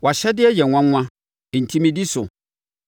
Wʼahyɛdeɛ yɛ nwanwa; enti medi so.